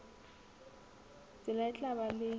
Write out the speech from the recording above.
tsela e tla ba le